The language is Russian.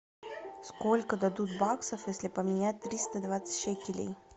сколько дадут баксов если поменять триста двадцать шекелей